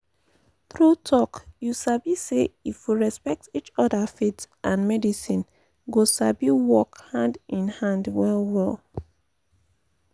true talk you sabi say if we respect each other faith and medicine go sabi work hand in hand well well.